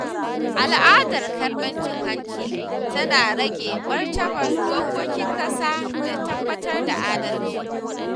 Al’adar karɓar cin hanci tana rage martabar dokokin ƙasa da tabbatar da adalci.